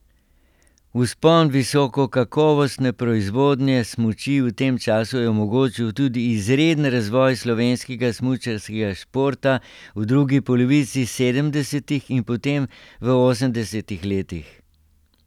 Vzpon visokokakovostne proizvodnje smuči v tem času je omogočil tudi izreden razvoj slovenskega smučarskega športa v drugi polovici sedemdesetih in potem v osemdesetih letih.